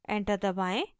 enter दबाएं